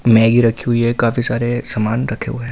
Maggi रखी हुई है काफी सारे सामान रखे हुए हैं।